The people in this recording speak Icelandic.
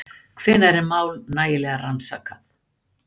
Hvenær er mál nægilega rannsakað?